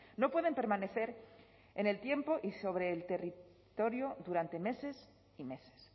no pueden permanecer en el tiempo y sobre el territorio durante meses y meses